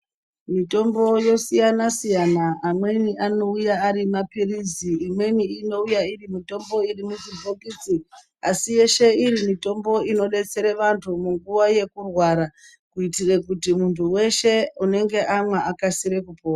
Mitombo yosiyana siyana siyana amweni anouya ari mapirizi imweni inoiya iri mitambo iri muchibhokisi asi yeshe iri mitambo inodetsere vantu munguwa yekurwara kuitire kuti muntu weshe unenge amwa akasire kupora .